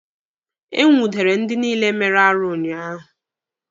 E nwudere ndị niile mere arụ ụnyaahụ.